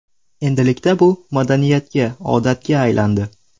Endilikda bu madaniyatga, odatga aylandi.